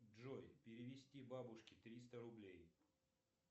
джой перевести бабушке триста рублей